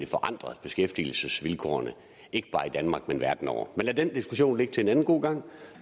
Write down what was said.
forandret beskæftigelsesvilkårene ikke bare i danmark men verden over men lad den diskussion ligge til en anden god gang